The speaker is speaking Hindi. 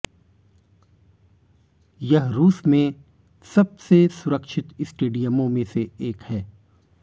यह रूस में सबसे सुरक्षित स्टेडियमों में से एक है